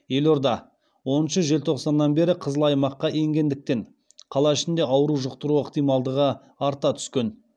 елорда оныншы желтоқсаннан бері қызыл аймаққа енгендіктен қала ішінде ауру жұқтыру ықтималдығы арта түскен